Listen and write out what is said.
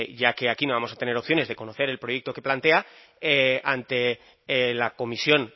ya que aquí no vamos a tener opciones de conocer el proyecto que plantea ante en la comisión